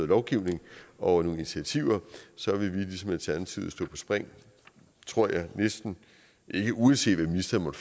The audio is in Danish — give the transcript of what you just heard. lovgivning og nogle initiativer så vil vi ligesom alternativet stå på spring tror jeg ikke uanset hvad ministeren